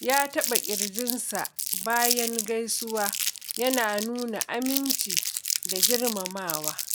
ya taɓa ƙirjinsa bayan gaisuwa, yana nuna aminci da girmamawa.